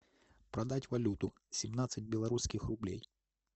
продать валюту семнадцать белорусских рублей